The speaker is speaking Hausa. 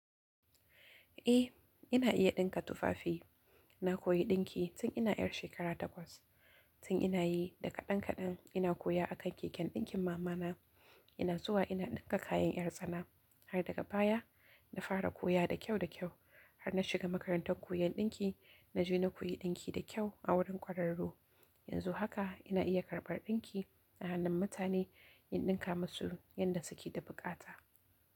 Eh, ina iya ɗinka tufafi. Na koyi ɗinki tun ina 'yar shekara takwas. Tun ina yi da kaɗan-kaɗan ina koya akan keken ɗinkin mama na ina zuwa ina ɗinka kayan 'yar tsana. Har daga baya na fara koya da kyau da kyau. Har na shiga makarantar koyon ɗinki, na je na koyi ɗinki da kyau a wurin kwararru. Yanzu haka ina iya karɓar ɗinki a hannun mutane, in ɗinka masu yanda su ke da buƙata.